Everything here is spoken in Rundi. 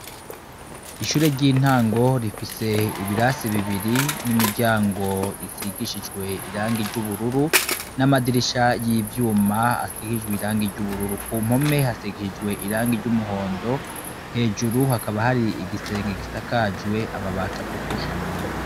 Ishure ry' intango rifise ibirase bibiri n'imiryango isigishijwe irangi ry' ubururu ,n' amadirisha y' ivyuma asigishijwe irangi ry' ubururu , ku mpome hasigishijwe irangi ry' umuhondo , hejuru hakaba hari igisenge gisakajwe amabati atukura.